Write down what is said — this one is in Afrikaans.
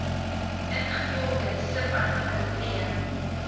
ingevolge subartikel b